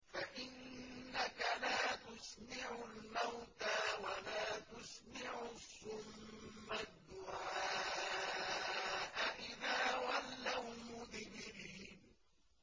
فَإِنَّكَ لَا تُسْمِعُ الْمَوْتَىٰ وَلَا تُسْمِعُ الصُّمَّ الدُّعَاءَ إِذَا وَلَّوْا مُدْبِرِينَ